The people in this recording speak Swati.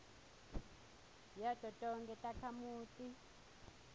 yato tonkhe takhamuti